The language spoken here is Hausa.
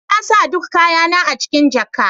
Na sa duk kayana a cikin jaka.